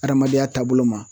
Adamadenya taabolo ma.